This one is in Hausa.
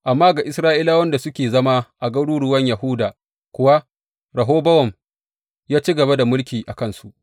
Amma ga Isra’ilawan da suke zama a garuruwan Yahuda kuwa, Rehobowam ya ci gaba da mulki a kansu.